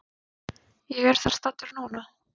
Ég er þar staddur núna.